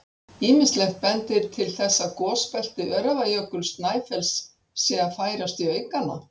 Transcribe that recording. Ýmislegt bendir til þess að gosbelti Öræfajökuls-Snæfells sé að færast í aukana.